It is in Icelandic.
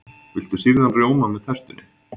Viltu sýrðan rjóma með tertunni?